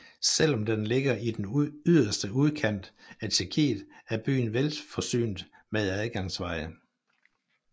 Selv om den ligger i den yderste udkant af Tjekkiet er byen velforsynet med adgangsveje